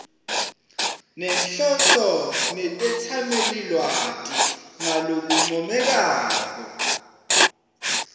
nenhloso netetsamelilwati ngalokuncomekako